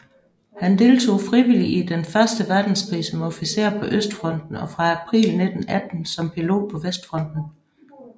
Han deltog frivilligt i Den første verdenskrig som officer på østfronten og fra april 1918 som pilot på vestfronten